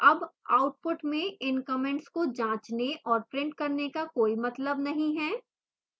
अब output में इन comments को जाँचने और प्रिंट करने का कोई मतलब नहीं है